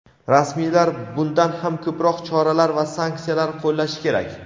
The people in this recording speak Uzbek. rasmiylar bundan ham ko‘proq choralar va sanksiyalar qo‘llashi kerak.